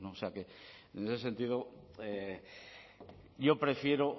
sea que en ese sentido yo prefiero